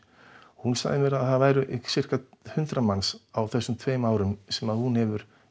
hún sagði mér að það væru hundrað manns á þessum tveimur árum sem hún hefur